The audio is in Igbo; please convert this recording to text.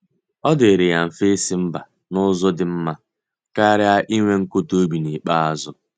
Ọ dịrị ya mfe isi mba n'ụzọ dị mma karịa inwe nkụda obi n'ikpeazụ.